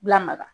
Bila maga